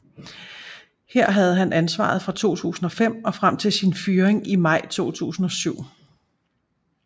Her havde han ansvaret fra 2005 og frem til sin fyring i maj 2007